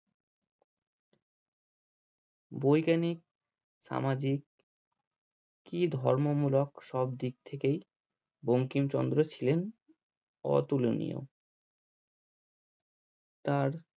বৈজ্ঞানিক সামাজিক কি ধর্মমূলক সব দিক থেকেই বঙ্কিমচন্দ্র ছিলেন অতুলনীয় তার